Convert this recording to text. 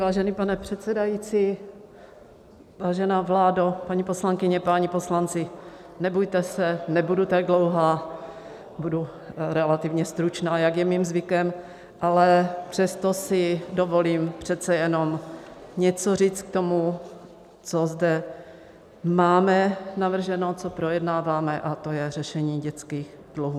Vážený pane předsedající, vážená vládo, paní poslankyně, páni poslanci, nebojte se, nebudu tak dlouhá, budu relativně stručná, jak je mým zvykem, ale přesto si dovolím přece jenom něco říct k tomu, co zde máme navrženo, co projednáváme, a to je řešení dětských dluhů.